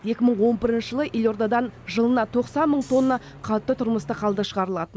екі мың он бірінші жылы елордадан жылына тоқсан мың тонна қатты тұрмыстық қалдық шығарылатын